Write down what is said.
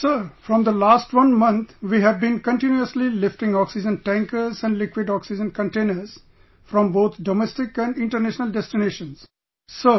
Sir, from the last one month we have been continuously lifting oxygen tankers and liquid oxygen containers from both domestic and international destinations, Sir